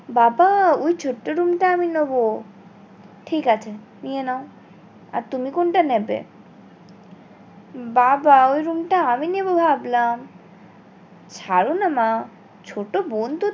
বাবা ওই ছোট্ট room টা আমি নোবো ঠিক আছে নিয়া নাও আর তুমি কোনটা নেবে বাবা ওই room টা আমি নেবো ভাবলাম ছাড়ো না মা ছোট বোন তো